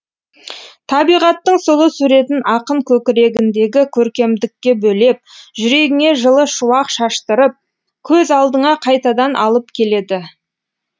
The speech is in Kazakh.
табиғаттың сұлу суретін ақын көкірегіндегі көркемдікке бөлеп жүрегіңе жылы шуақ шаштырып көз алдыңа қайтадан алып келеді